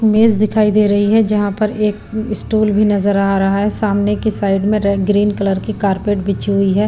मेज दिखाई दे रही है जहां पर एक स्टूल भी नजर आ रहा है सामने की साइड में रेड ग्रीन कलर की कारपेट बिची हुई है।